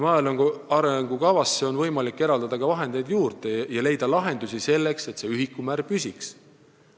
Maaelu arengukava jaoks on võimalik vahendeid juurde eraldada ja leida lahendusi, selleks et ühikumäärad püsiks.